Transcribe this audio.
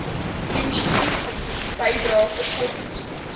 pensioenfonds bydrae voorsorgfonds